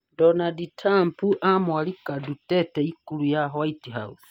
Donald Trump amwalika Duterte ikulu ya White House